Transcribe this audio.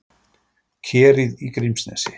Kerið í Grímsnesi.